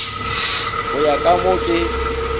go ya ka mo ke